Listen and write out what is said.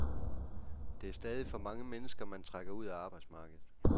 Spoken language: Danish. Det er stadig for mange mennesker, man trækker ud af arbejdsmarkedet.